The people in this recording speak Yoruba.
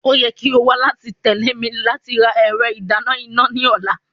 O yẹ ki o wa lati tẹle mi lati ra ẹrọ idana ina ni ọla.